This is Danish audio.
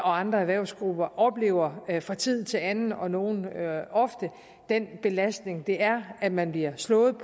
og andre erhvervsgrupper oplever fra tid til anden og nogen ofte den belastning det er at man bliver slået